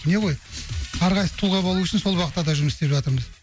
не ғой әрқайсысы тұлға болу үшін сол бағытта да жұмыс істеп жатырмыз